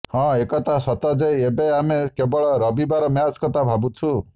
ହଁ ଏକଥା ସତ ଯେ ଏବେ ଆମେ କେବଳ ରବିବାର ମ୍ୟାଚ୍ କଥା ଭାବୁଛୁ